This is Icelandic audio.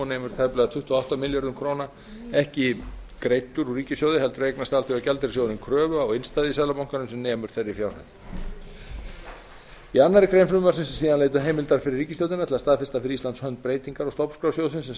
og nemur tæplega tuttugu og átta milljörðum króna ekki greiddur úr ríkissjóði heldur eignast alþjóðagjaldeyrissjóðurinn kröfu á innstæðu í seðlabankanum sem nemur þeirri fjárhæð í annarri grein frumvarpsins er síðan leitað heimildar fyrir ríkisstjórnina til að staðfesta fyrir íslands hönd breytingar á stofnskrá sjóðsins sam